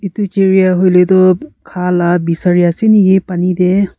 Etu chirya hoile tuh kha la besari ase naki pani dae?